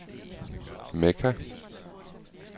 Mekka